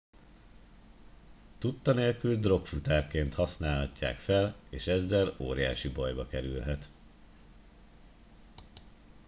tudta nélkül drogfutárként használhatják fel és ezzel óriási bajba kerülhet